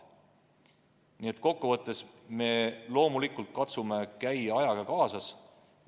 Nii et kokkuvõttes me loomulikult katsume ajaga kaasas käia.